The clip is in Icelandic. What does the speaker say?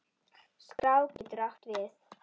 Skrá getur átt við